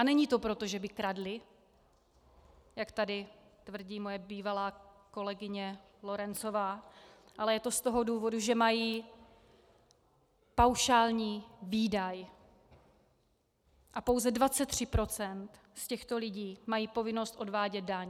A není to proto, že by kradli, jak tady tvrdí moje bývalá kolegyně Lorencová, ale je to z toho důvodu, že mají paušální výdaj, a pouze 23 % z těchto lidí mají povinnost odvádět daň.